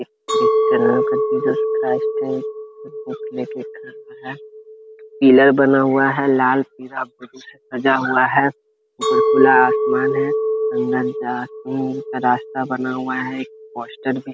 एक क्रिश्चियन का Jesus Christ है जो बुक लेके खड़ा हुआ है। पिलर बना हुआ है। लाल पीला ब्लू से सजा हुआ है। ऊपर खुला आसमान है। अंदर जाने का रास्ता बना हुआ है। एक पोस्टर भी --